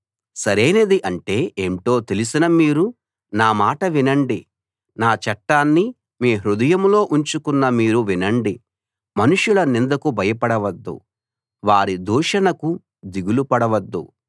సరైనది అంటే ఏంటో తెలిసిన మీరు నా మాట వినండి నా చట్టాన్ని మీ హృదయంలో ఉంచుకున్న మీరు వినండి మనుషుల నిందకు భయపడవద్దు వారి దూషణకు దిగులుపడవద్దు